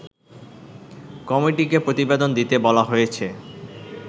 কমিটিকে প্রতিবেদন দিতে বলা হয়েছে